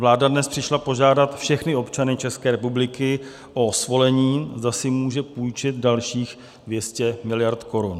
Vláda dnes přišla požádat všechny občany České republiky o svolení, zda si může půjčit dalších 200 miliard korun.